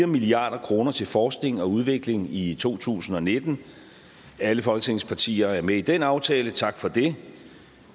milliard kroner til forskning og udvikling i to tusind og nitten alle folketingets partier er med i den aftale tak for det